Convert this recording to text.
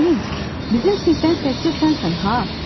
Ramin, bizim sinifdən təkcə sənsən ha!